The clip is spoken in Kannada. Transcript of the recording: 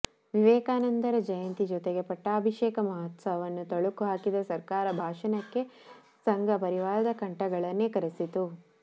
ವಿವೇಕಾನಂದರ ಜಯಂತಿ ಜೊತೆಗೆ ಪಟ್ಟಾಭಿಷೇಕ ಮಹೋತ್ಸವವನ್ನು ತಳುಕು ಹಾಕಿದ ಸರ್ಕಾರ ಭಾಷಣಕ್ಕೆ ಸಂಘ ಪರಿವಾರದ ಕಂಠಗಳನ್ನೇ ಕರೆಸಿತು